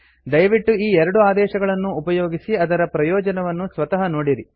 ದಯವಿಟ್ಟು ಈ ಎರಡು ಆದೇಶಗಳನ್ನೂ ಉಪಯೋಗಿಸಿ ಅದರ ಪ್ರಯೋಜನವನ್ನು ಸ್ವತಃ ನೋಡಿರಿ